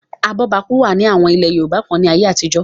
abọ́bakú wà ní àwọn ilẹ̀ yorùbá kan ní ayé àtijọ́